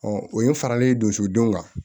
o ye farali donso denw kan